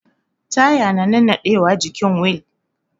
Taya na nannaɗe wa jikin wil